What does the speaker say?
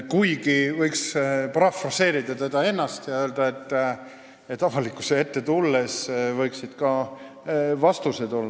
Kuigi võiks parafraseerida teda ennast ja öelda, et avalikkuse ette tulles võiksid ka vastused olla.